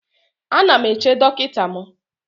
Ana m eche dọkịta m